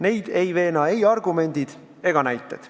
Neid ei veena ei argumendid ega näited.